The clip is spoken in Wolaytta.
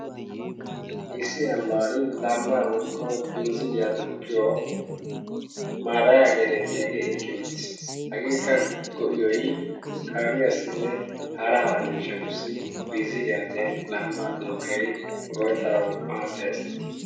Issi ambbana lambba woykko binzziliya duukiyo Maadaya getttiyaage eqqi uttiis. hagekka lo''iyoy kaamiyassinne hara hara miishshatussi lambba duuqidi go''etanassi maaddees.